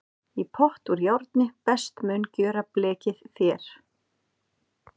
Í pott úr járni best mun gjöra blekið þér.